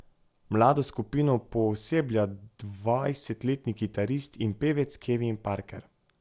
Mlado skupino pooseblja dvajsetletni kitarist in pevec Kevin Parker.